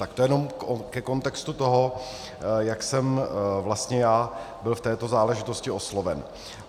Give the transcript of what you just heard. Tak to jenom ke kontextu toho, jak jsem vlastně já byl v této záležitosti osloven.